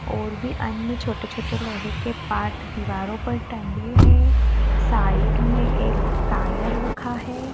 और भी अन्य छोटे छोटे लोहे के पार्ट दीवारों पर टंगे हैं साइड में एक टायर रखा है।